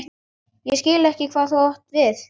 Ég skil ekki hvað þú átt við?